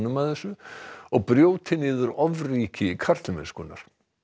að þessu og brjóti niður ofríki karlmennskunnar